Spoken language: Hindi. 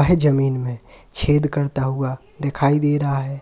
वह जमीन में छेद करता हुआ दिखाई दे रहा है।